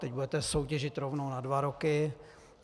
Teď budete soutěžit rovnou na dva roky.